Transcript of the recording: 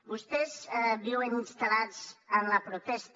vostès viuen instal·lats en la protesta